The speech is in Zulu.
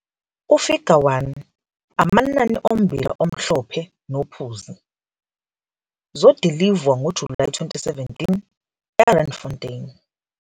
UFiga 1- Amanani ommbila omhlophe nophuzi zodilivwa ngoJulayi 2017, e-Randfontein.